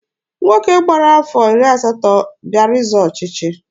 Nwoke gbara afọ iri asatọ bịara ịzọ ọchịchị.